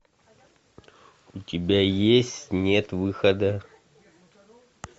у тебя есть нет выхода